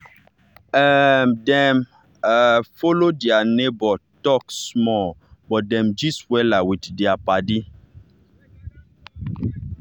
um dem um follow their neighbor talk small but dem gist wella with their paddy.